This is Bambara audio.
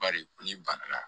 Bari n'i ban na